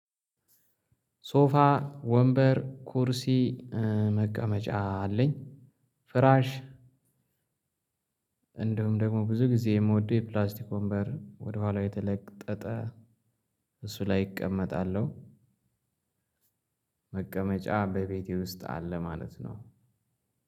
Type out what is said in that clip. ሶፋ ወንበር ኩርሲ መቀመጫ አለኝ። ፍራሽ እንዲሁም ደግሞ ብዙ ጊዜ የምወደው የፕላስቲክ ወንበር ወደኋላ የተለጠጠ እሱ ላይ እቀመጣለሁ። መቀመጫ በቤቴ ውስጥ አለ ማለት ነው።